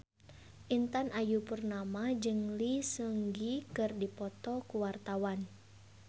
Intan Ayu Purnama jeung Lee Seung Gi keur dipoto ku wartawan